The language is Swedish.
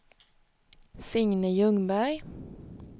Signe Ljungberg